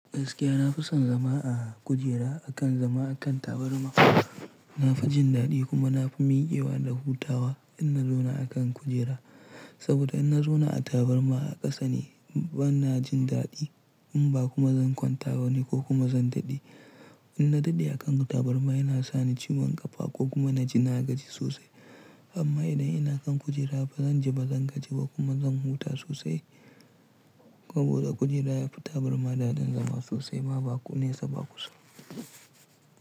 Gaskiya na fi son zama a kujera akan zama a kan tabarma. Na fi jin daɗi kuma na fi min iyewa da hutawa idan na zauna a kan kujera. Saboda in na zauna a tabarma a ƙasa ne bana jin daɗi in ba kuma zan kwanta ba ne ko kuma zan daɗe. In na daɗe a kan tabarma yana sani ciwon ƙafa ko kuma na ji nagaji sosai. Amma idan ina kan kujera ba zan ji ba zan gaji ba kuma zan huta sosai. Saboda kujera ya fi tabarma daɗin zama sosai ma nesa bakusa ba.